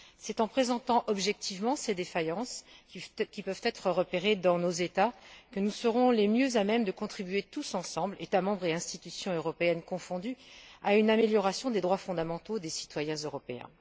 C'est en présentant objectivement ces défaillances qui peuvent être repérées dans nos États que nous serons le mieux à même de contribuer tous ensemble, États membres et institutions européennes confondus, à une amélioration des droits fondamentaux des citoyens européens.